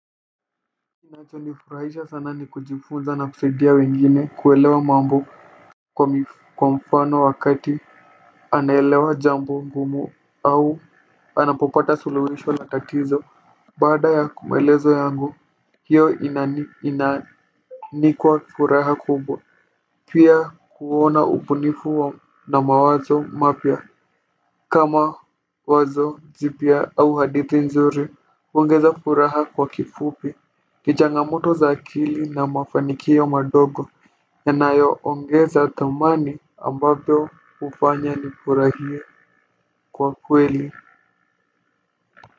Kinacho nifurahisha sana ni kujifunza na kusaidia wengine kuelewa mambo kwa mfano wakati anaelewa jambo ngumu au anapopata suluhisho la tatizo. Baada ya kumaelezo yangu hiyo. Ni kwa furaha kubwa pia kuona ubunifu mawazo mapya. Kama wazo zipya au hadithi nzuri huongeza furaha kwa kifupi. Kichangamoto za akili na mafanikio madogo ya nayo ongeza thamani ambavyo hufanya ni furahie kwa kweli.